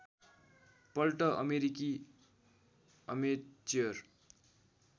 पल्ट अमेरिकी अमेच्योर